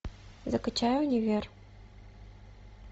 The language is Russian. закачай универ